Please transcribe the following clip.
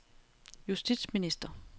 justitsminister